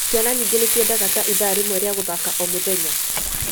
Ciana nyĩngĩ nĩciendaga ta itha rĩmwe rĩa gũthaka o mũthenya.